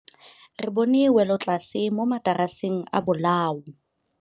Re bone wêlôtlasê mo mataraseng a bolaô.